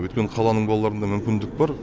өйткені қаланың балаларында мүмкіндік бар